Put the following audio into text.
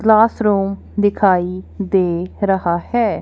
Class room दिखाई दे रहा है।